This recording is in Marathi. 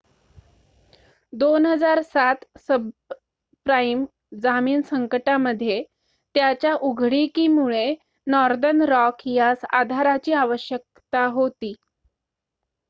2007 सबप्राईम जामीन संकटामध्ये त्याच्या उघडीकीमुळे नॉर्दर्न रॉक यास आधाराची आवश्यकता होती